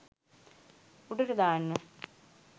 උඩට දාන්න